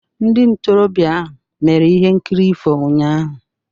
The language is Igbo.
Ndị ntorobịa ahụ mere ihe nkiri ifo ụnyahụ.